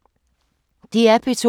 DR P2